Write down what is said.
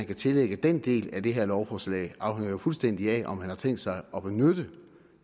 kan tillægge den del af det her lovforslag jo fuldstændig afhænger af om man har tænkt sig at benytte